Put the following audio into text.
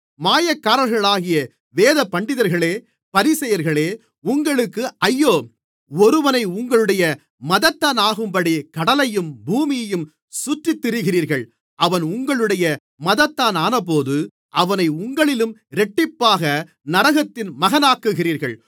மாயக்காரர்களாகிய வேதபண்டிதர்களே பரிசேயர்களே உங்களுக்கு ஐயோ ஒருவனை உங்களுடைய மதத்தானாக்கும்படி கடலையும் பூமியையும் சுற்றித்திரிகிறீர்கள் அவன் உங்களுடைய மதத்தானானபோது அவனை உங்களிலும் இரட்டிப்பாக நரகத்தின் மகனாக்குகிறீர்கள்